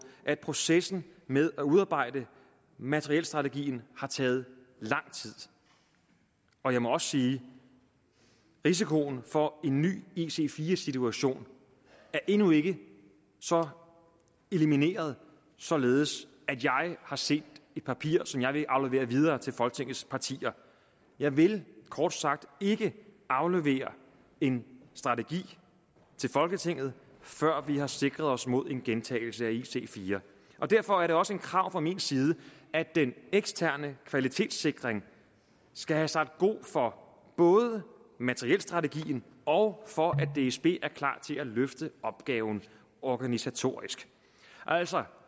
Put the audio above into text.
at processen med at udarbejde materielstrategien har taget lang tid og jeg må også sige at risikoen for en ny ic4 situation endnu ikke er så elimineret således at jeg har set et papir som jeg vil aflevere videre til folketingets partier jeg vil kort sagt ikke aflevere en strategi til folketinget før vi har sikret os mod en gentagelse af ic4 derfor er det også et krav fra min side at den eksterne kvalitetssikring skal have sagt god for både materielstrategien og for at dsb er klar til at løfte opgaven organisatorisk altså